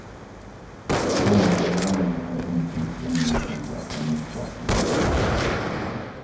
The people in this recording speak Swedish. På onsdag lämnar de in sin stämningsansökan mot staten.